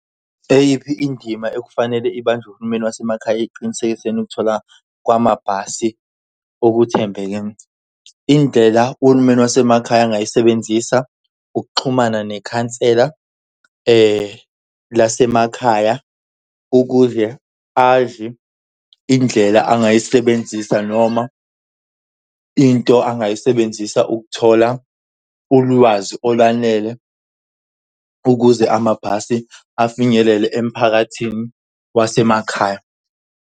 Eyiphi indima ekufanele ibanjwe uhulumeni wasemakhaya ekuqinisekiseni ukuthola kwamabhasi okuthembeke? Indlela uhulumeni wasemakhaya angayisebenzisa ukuxhumana nekhansela lasemakhaya ukuze azi indlela angayisebenzisa noma into angayisebenzisa ukuthola ulwazi olwanele ukuze amabhasi afinyelele emphakathini wasemakhaya.